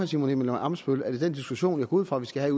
simon emil ammitzbøll at i den diskussion jeg går ud fra vi skal